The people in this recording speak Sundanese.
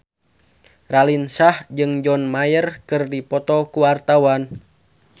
Raline Shah jeung John Mayer keur dipoto ku wartawan